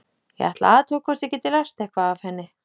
Ég ætla að athuga hvort ég get lært eitthvað af henni.